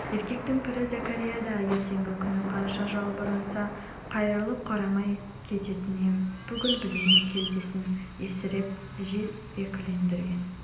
еркектің пірі зәкәрия да ертеңгі күні қанша жалбарынса да қайырылып қарамай кететінін бүгін білмей кеудесін есірік жел екілендірген